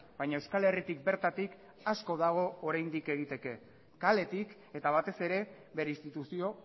baina euskal herritik bertatik asko dago oraindik egiteke kaletik eta batez ere bere instituzio